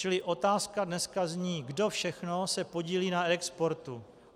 Čili otázka dneska zní: Kdo všechno se podílí na reexportu?